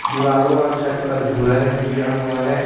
दीवारों और छत पर भूरा रंग किया हुआ है.